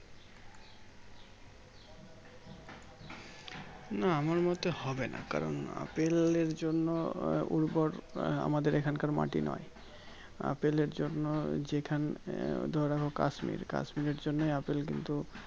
না আমার মতে হবে না কারণ আপেল এর জন্য উর্বর আমাদের এই খানকার মাটি নই আপেলের জন্য যেখান আহ ধরে রাখো KashmirKashmir এর জন্যই আপেল কিন্তু